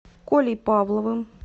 колей павловым